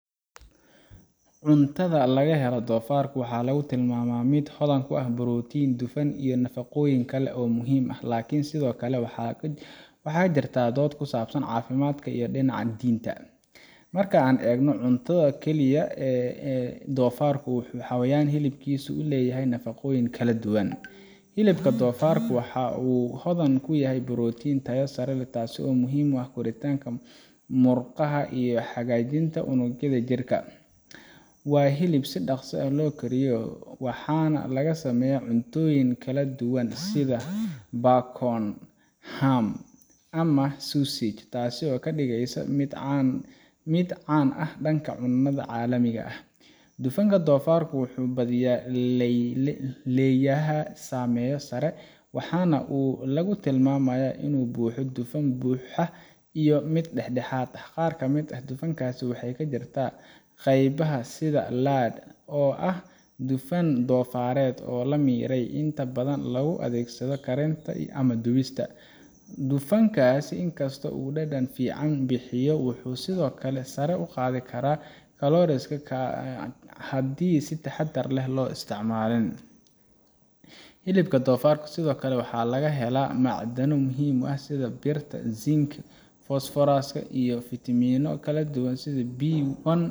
Cuntada laga helo doofarka waxaa lagu tilmaamaa mid hodan ku ah borotiin, dufan, iyo nafaqooyin kale oo muhiim ah, laakiin sidoo kale waxaa jirta dood ku saabsan caafimaadka iyo dhinaca diinta. Marka aan eegno cunto ahaan oo keliya, doofarku waa xayawaan hilibkiisu uu leeyahay nafaqooyin kala duwan: Hilibka doofarka waxa uu hodan ku yahay borotiin tayo sare leh, taasoo muhiim u ah koritaanka murqaha iyo hagaajinta unugyada jirka. Waa hilib si dhakhso ah loo kariyo, waxaana laga sameeyaa cuntooyin kala duwan sida bacon, ham, ama sausages, taasoo ka dhigaysa mid caan ah dhanka cunnada caalamiga ah. Dufanka doofarka wuxuu badiyaa leeyahay saamiyo sare, waxaana lagu tilmaamaa inuu ka buuxo dufan buuxa iyo mid dhexdhexaad ah. Qaar ka mid ah dufankaasi waxay ku jirtaa qaybaha sida lard, oo ah dufan doofareed la miiray oo inta badan loogu adeegsado karinta ama dubista. Dufankaas, inkastoo uu dhadhan fiican bixiyo, wuxuu sidoo kale sare u qaadi karaa kolestaroolka haddii aan si taxadar leh loo isticmaalin. Hilibka doofarka sidoo kale waxaa laga helaa macdano muhiim ah sida birta, zinc, iyo fosfooraska, iyo fiitamiino ka tirsan kooxda B one